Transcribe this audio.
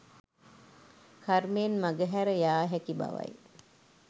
කර්මයෙන් මගහැර යා හැකි බවයි.